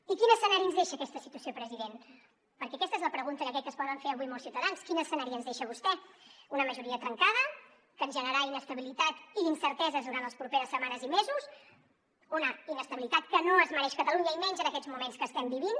i quin escenari ens deixa aquesta situació president perquè aquesta és la pregunta que crec que es poden fer avui molts ciutadans quin escenari ens deixa vostè una majoria trencada que ens generarà inestabilitat i incerteses durant les properes setmanes i mesos una inestabilitat que no es mereix catalunya i menys en aquests moments que estem vivint